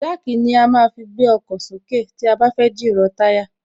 Jack ni a má ń fi gbé ọkọ̀ sókè tí a bá fẹ́ jìrọ̀ táyà